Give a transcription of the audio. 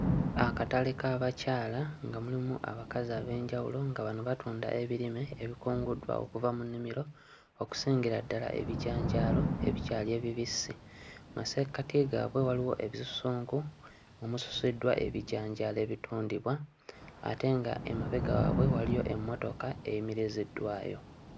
Akatale k'abakyala nga mulimu abakazi ab'enjawulo nga bano batunda ebirime ebikunguddwa okuva mu nnimiro okusingira ddala ebijanjaalo ebikyali ebibisi, mmassekati gaabwe waliwo ebisusunku omususiddwa ebijanjaalo ebitundibwa ate nga emabega waabwe waliyo emmotoka eyimiriziddwayo.